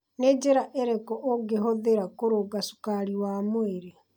Nĩ njĩra irĩkũ ũngĩhũthĩra kũrũnga cukari wa mwĩrĩ?